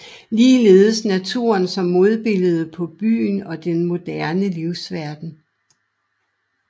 Ligeledes naturen som modbilledet på byen og den moderne livsverden